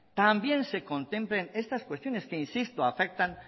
también se contemplan estas cuestiones que insisto afectan